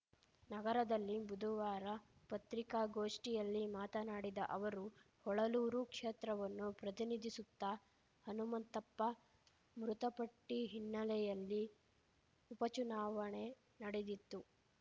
ನಗರದಲ್ಲಿ ಬುಧುವಾರ ಪತ್ರಿಕಾಗೋಷ್ಟಿಯಲ್ಲಿ ಮಾತನಾಡಿದ ಅವರು ಹೊಳಲೂರು ಕ್ಷೇತ್ರವನ್ನು ಪ್ರತಿನಿಧಿಸುತ್ತಾ ಹನುಮಂತಪ್ಪ ಮೃತಪಟ್ಟಿ ಹಿನ್ನೆಲೆಯಲ್ಲಿ ಉಪಚುನಾವಣೆ ನಡೆದಿತ್ತು